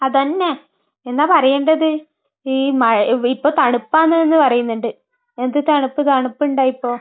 അതന്നെ. എന്താ പറയേണ്ടത്? ഈ മഴ...ഇപ്പൊ തണുപ്പാണെന്ന് പറയുന്നുണ്ട്. എന്ത് തണുപ്പ്? തണുപ്പിണ്ട ഇപ്പൊ?